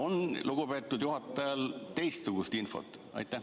Kas lugupeetud juhatajal on teistsugust infot?